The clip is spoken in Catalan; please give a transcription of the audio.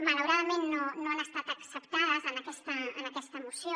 malaura·dament no han estat acceptades en aquesta moció